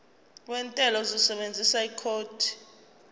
wentela uzosebenzisa ikhodi